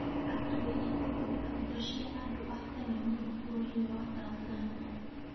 Atuĩria kũthundũra indo cia andũ a tene mũno bũrũri-inĩ wa Tanzania